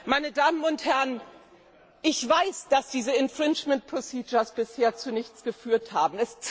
Meine Damen und Herren! Ich weiß, dass diese infringement procedures bisher zu nichts geführt haben.